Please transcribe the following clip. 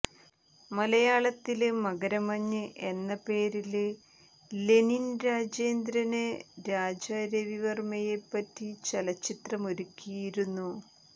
മലയാളത്തില് മകര മഞ്ഞ് എന്ന പേരില് ലെനിന് രാജേന്ദ്രന് രാജാരവി വര്മ്മയെപ്പറ്റി ചലച്ചിത്രമൊരുക്കിയിരുന്നു